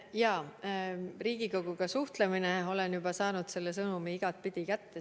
Jaa, Riigikoguga suhtlemine – olen juba saanud selle sõnumi igatpidi kätte.